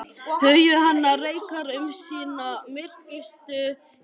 Hugur hennar reikar um sína myrkustu kima.